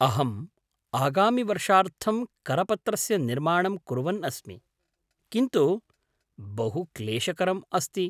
अहम् आगामिवर्षार्थं करपत्रस्य निर्माणं कुर्वन् अस्मि, किन्तु बहु क्लेशकरम् आस्ति।